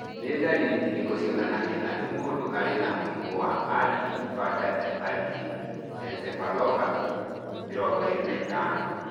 Nĩ ndariri irĩkũ cionanagia atĩ mũndũ arĩ na mũrimũ wa Early infantile epileptic encephalopathy 25?